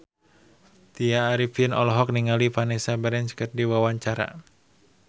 Tya Arifin olohok ningali Vanessa Branch keur diwawancara